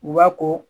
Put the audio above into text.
U b'a ko